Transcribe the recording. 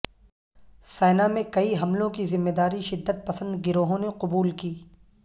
سینا میں کئی حملوں کی ذمہ داری شدت پسند گروہوں نے قبول کی